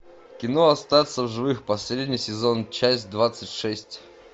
кино остаться в живых последний сезон часть двадцать шесть